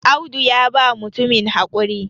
Audu ya ba mutumin haƙuri